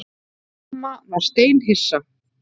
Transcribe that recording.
Amma var steinhissa.